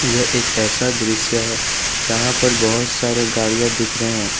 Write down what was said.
यह एक ऐसा दृश्य है जहां पर बहुत सारे गाड़ियां दिख रहे हैं।